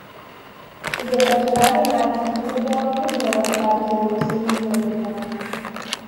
Izobraževanje mladih kirurgov ni bilo v skladu z evropskimi smernicami.